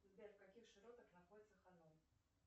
сбер в каких широтах находится ханон